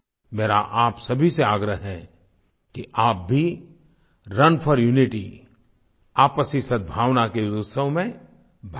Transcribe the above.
मेरा आप सभी से आग्रह है कि आप भी रुन फोर यूनिटी आपसी सद्भावना के इस उत्सव में भाग लें